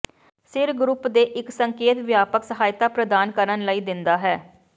ਸਿਰ ਗਰੁੱਪ ਦੇ ਇੱਕ ਸੰਕੇਤ ਵਿਆਪਕ ਸਹਾਇਤਾ ਪ੍ਰਦਾਨ ਕਰਨ ਲਈ ਦਿੰਦਾ ਹੈ